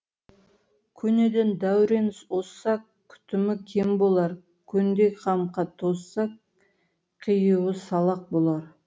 көнеден дәурен озса күтімі кем болар көндей қамқа тозса киюі салақ болар